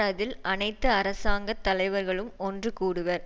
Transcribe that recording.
அதில் அனைத்து அரசாங்க தலைவர்களும் ஒன்று கூடுவர்